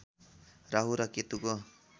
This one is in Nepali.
राहु र केतुको